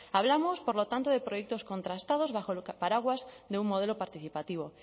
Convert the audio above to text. hablamos por lo tanto de proyectos contrastados bajo el paraguas de un modelo participativo